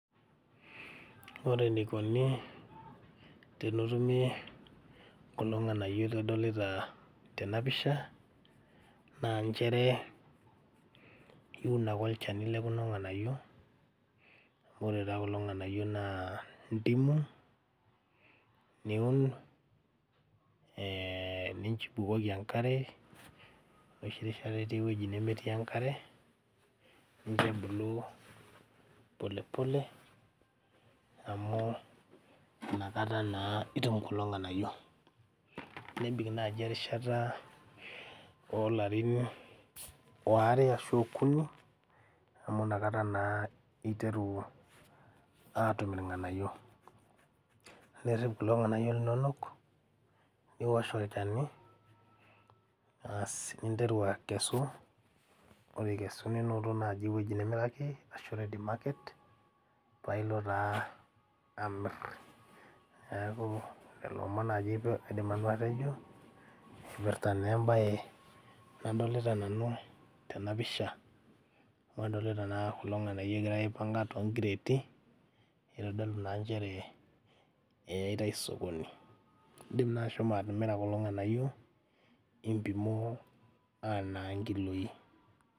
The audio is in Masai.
Ore eneikoni tenotumi kulo ng'anayio lidolita tena pisha naa nchere iun ake olchani lekuna ng'anayio amu ore taa kulo ng'anayio naa ndimu niun eh ni nibukoki enkare enoshi rishata itii ewueji nemetii enkare nincho ebulu pole pole amu inakata naa itum kulo ng'anayio nebik naaji erishata olarin oare ashu okuni amu inakata naa iteru aatum irng'anayio nerrip kulo ng'anayio linonok niwosh olchani aasi ninteru akesu ore ikesu ninoto naaji ewueji nimiraki ashu ready market pailo taa amirr neku lelo omon naaji aidim nanu atejo ipirta naa embaye nadolita nanu tena pisha amu adolita naa kulo ng'anayio egirae aipanga tonkireeti eitodolu naa nchere eyaitae sokoni indim naa ashomo atimira kulo ng'anayio impimoo anaa inkiloi.